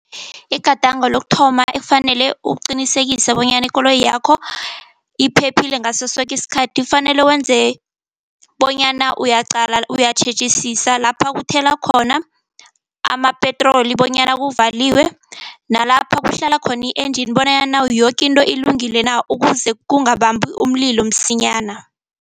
Igadango lokuthoma kufanele uqinisekise bonyana ikoloyi yakho iphephile ngaso soke isikhathi. Kufanele wenze bonyana uyaqala, uyatjhejisisa lapho kuthelwa khona amapetroli bonyana kuvaliwe, nalapha kuhlala khona i-engine bonyana yoke into ilungile na. Ukuze kungababambi umlilo msinyana.